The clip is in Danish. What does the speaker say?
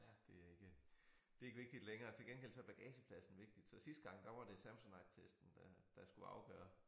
Det er ikke det ikke vigtigt længere til gengæld så bagagepladsen vigtig så sidste gang der var det Samsonite testen der der skulle afgøre